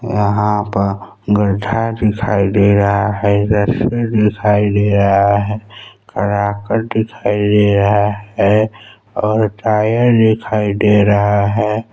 यहाँ पर गड्ढा दिखाई दे रहा है इधर दिखाई दे रहा है कराकट दिखाई दे रहा है और टायर दिखाई दे रहा है।